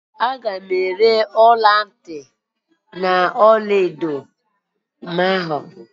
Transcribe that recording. Aga m ere ọlantị ọlaedo mụ ahụ.